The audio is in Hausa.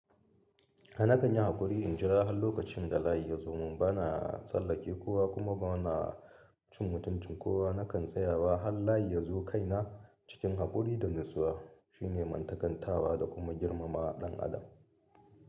Na kan yi haƙuri in jira har lokacin da layi ya zo, mun ba na tsallake kowa kuma ba na cin mutuncin kowa. Nakan tsayawa har layi ya zo kaina cikin haƙuri da natsuwa. Shi ne mantakantawa da kuma girmama ɗan adam.